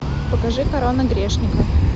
покажи корона грешника